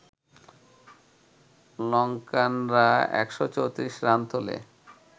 লঙ্কানরা ১৩৪ run তোলে